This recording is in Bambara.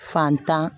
Fantan